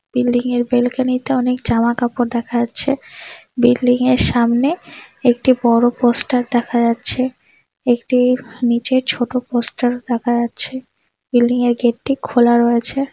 বিল্ডিংয়ের বেলকনিতে অনেক জামা কাপড় দেখা যাচ্ছে। বিল্ডিংয়ের সামনে একটি বড়ো পোস্টার দেখা যাচ্ছে। একটি নিচের ছোট পোস্টারও দেখা যাচ্ছে। বিল্ডিংয়ের গেট টি খোলা রয়েছে।